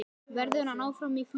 Verður hann áfram í Fylki?